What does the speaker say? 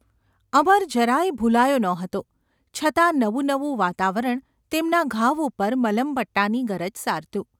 અમર જરા યે ભુલાયો ન હતો છતાં નવું નવું વાતાવરણ તેમના ઘાવ ઉપર મલમપટ્ટાની ગરજ સારતું.